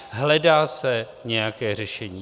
Hledá se nějaké řešení.